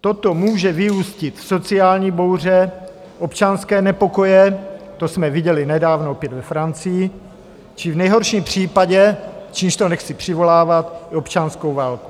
Toto může vyústit v sociální bouře, občanské nepokoje - to jsme viděli nedávno opět ve Francii - či v nejhorším případě, čímž to nechci přivolávat, občanskou válku.